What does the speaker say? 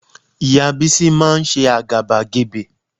Ìyá Bísí máa ń ṣe àgàbàgebè